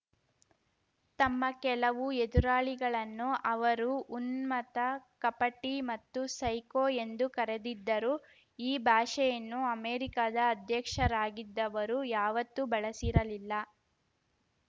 ತಮ್ಮ ಕೆಲವು ಎದುರಾಳಿಗಳನ್ನು ಅವರು ಉನ್ಮತ್ತ ಕಪಟಿ ಮತ್ತು ಸೈಕೋ ಎಂದು ಕರೆದಿದ್ದರು ಈ ಭಾಷೆಯನ್ನು ಅಮೆರಿಕದ ಅಧ್ಯಕ್ಷರಾಗಿದ್ದವರು ಯಾವತ್ತೂ ಬಳಸಿರಲಿಲ್ಲ